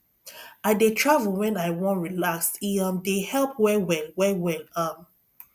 i dey travel wen i wan relax e um dey help wellwell wellwell um